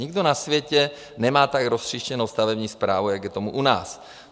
Nikdo na světě nemá tak roztříštěnou stavební správu, jak je tomu u nás.